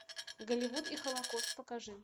голливуд и холокост покажи